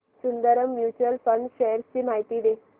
Sundaram mutual fund shares ची माहिती दे